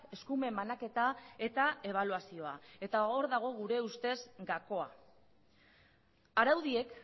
eskumen banaketa eta ebaluazioa eta hor dago gure ustez gakoa araudiek